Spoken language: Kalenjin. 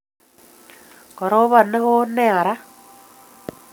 koropan newon nea raa